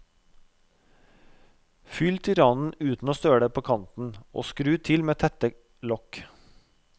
Fyll til randen uten å søle på kanten og skru til med tette lokk.